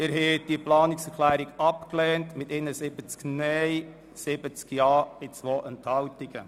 Sie haben diese Planungserklärung abgelehnt mit 71 Nein- gegen 70 Ja-Stimmen bei 2 Enthaltungen.